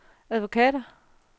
advokater